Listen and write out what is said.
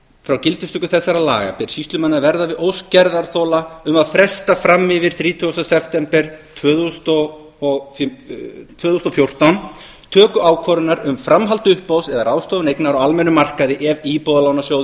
frá gildistöku laga þessara ber sýslumanni að verða við ósk gerðarþola um að fresta fram yfir þrítugasta september tvö þúsund og fjórtán töku ákvörðunar um framhald uppboðs eða ráðstöfun eignar á almennum markaði ef íbúðalánasjóður